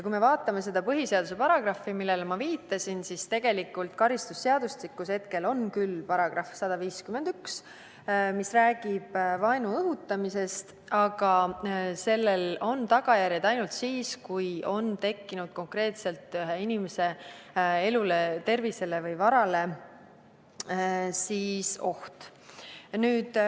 Kui me vaatame seda põhiseaduse paragrahvi, millele ma viitasin, siis tegelikult on karistusseadustikus hetkel küll olemas § 151, mis räägib vaenu õhutamisest, aga sellel on tagajärjed ainult siis, kui on tekkinud konkreetne oht ühe inimese elule, tervisele või varale.